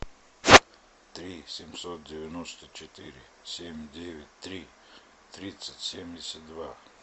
три семьсот девяносто четыре семь девять три тридцать семьдесят два